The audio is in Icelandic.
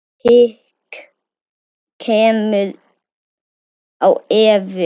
Hik kemur á Evu.